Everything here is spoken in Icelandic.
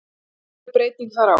Nú verður breyting þar á.